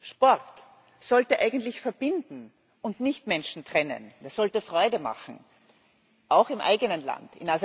Sport sollte eigentlich verbinden und nicht Menschen trennen, er sollte Freude machen, auch im eigenen Land.